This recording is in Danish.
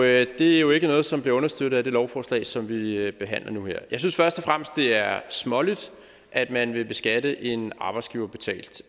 er jo ikke noget som bliver understøttet af det lovforslag som vi behandler nu her jeg synes først og fremmest det er småligt at man vil beskatte en arbejdsgiverbetalt